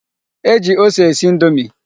E ji ose esi indomi.